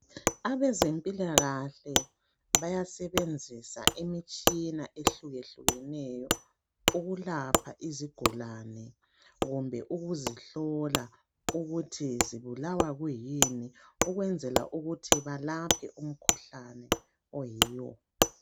Abezempilakahle bayasebenzisa imitshina ehlukehlukeneyo ukulapha izigulane kumbe ukuzihlola ukuthi zibulawa kuyini ukwenzela ukuthi balaphe umkhuhlane oyiwo.